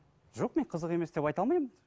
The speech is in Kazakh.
жоқ мен қызық емес деп айта алмаймын